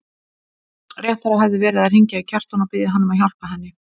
Réttara hefði verið að hringja í Kjartan og biðja hann að hjálpa henni.